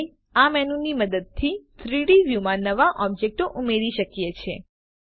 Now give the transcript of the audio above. આપણે આ મેનુની મદદથી 3ડી વ્યુમાં નવા ઓબ્જેક્ટો ઉમેરી શકીએ છીએ